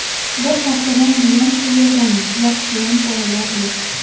Bir haftadan buyon shu yerdamiz, yaxshiyam bolalar yo‘q.